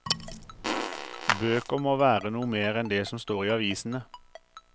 Bøker må være noe mer enn det som står i avisene.